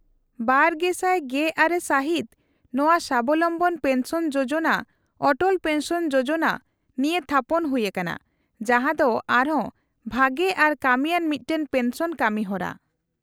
-᱒᱐᱑᱖ ᱥᱟᱹᱦᱤᱛ ᱱᱚᱶᱟ ᱥᱟᱵᱚᱞᱚᱢᱵᱚᱱ ᱯᱮᱱᱥᱚᱱ ᱡᱳᱡᱳᱱᱟ ᱚᱴᱚᱞ ᱯᱮᱱᱥᱚᱱ ᱡᱳᱡᱳᱱᱟ ᱱᱤᱭᱟᱹ ᱛᱷᱟᱯᱚᱱ ᱦᱩᱭ ᱟᱠᱟᱱᱟ , ᱡᱟᱦᱟᱸ ᱫᱚ ᱟᱨ ᱦᱚᱸ ᱵᱷᱟᱜᱮ ᱟᱨ ᱠᱟᱹᱢᱤᱭᱟᱱ ᱢᱤᱫᱴᱟᱝ ᱯᱮᱱᱥᱚᱱ ᱠᱟᱹᱢᱤ ᱦᱚᱨᱟ ᱾